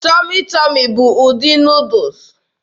Tọmị Tọmị bụ ụdị Nuudus.